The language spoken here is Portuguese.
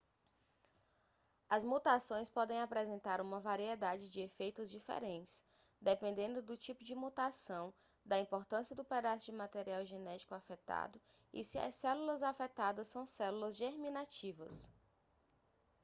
as mutações podem apresentar uma variedade de efeitos diferentes dependendo do tipo de mutação da importância do pedaço de material genético afetado e se as células afetadas são células germinativas